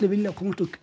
vilja komast út